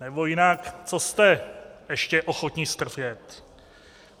Nebo jinak - co jste ještě ochotni strpět?